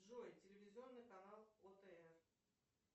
джой телевизионный канал о тв